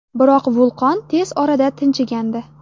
Biroq vulqon tez orada tinchigandi.